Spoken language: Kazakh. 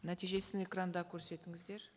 нәтижесін экранда көрсетіңіздер